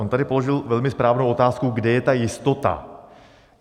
On tady položil velmi správnou otázku, kde je ta jistota.